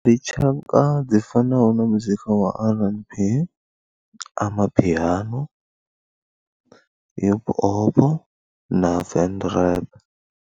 Ndi tshaka dzi fanaho na muzika wa RnB, Jazz, Amapiano, Hip Hop na Ven Rap.